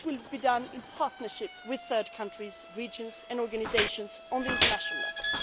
This will be done in partnership with third countries, regions and organisations at international level.